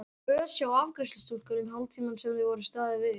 Var mikil ös hjá afgreiðslustúlkum hálftímann sem þar var staðið við.